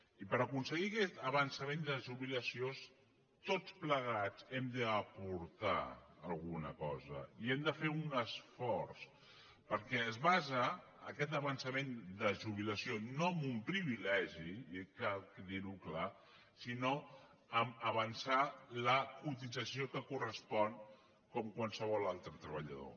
i per aconseguir aquest avançament de jubilació tots plegats hem d’aportar alguna cosa i hem de fer un esforç perquè es basa aquest avançament de jubilació no en un privilegi i cal dir ho clar sinó a avançar la cotització que correspon com amb qualsevol altre treballador